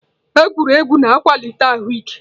Egwuregwu na-akwalite ahụ ike.